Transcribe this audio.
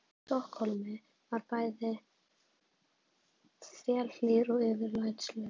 Stokkhólmi og var bæði einstaklega þelhlýr og yfirlætislaus.